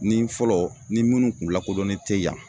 Ni fɔlɔ ni minnu kun lakodɔnnen te yan